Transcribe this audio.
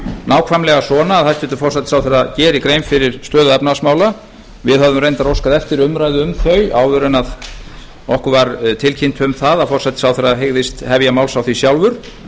nákvæmlega svona að hæstvirtur forsætisráðherra geri grein fyrir stöðu efnahagsmála við höfðum reyndar óskað eftir umræðu um þau áður en okkur var tilkynnt um það að forsætisráðherra hygðist hefja máls á því sjálfur